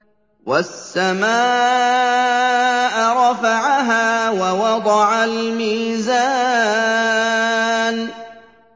وَالسَّمَاءَ رَفَعَهَا وَوَضَعَ الْمِيزَانَ